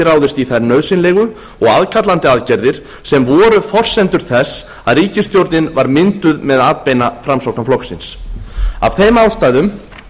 ráðist í þær nauðsynlegu og aðkallandi aðgerðir sem voru forsendur þess að ríkisstjórnin var mynduð með atbeina framsóknarflokksins af þeim ástæðum